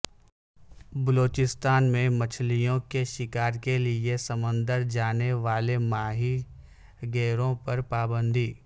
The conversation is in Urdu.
بلوچستان میں مچھلیوں کے شکار کے لیے سمندر جانے والے ماہی گیروں پر پابندی